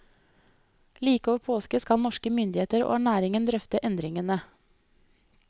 Like over påske skal norske myndigheter og næringen drøfte endringene.